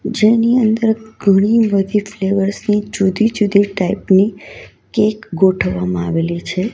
જેની અંદર ઘણી બધી ફ્લેવર્સ ની જુદી જુદી ટાઈપ ની કેક ગોઠવવામાં આવેલી છે.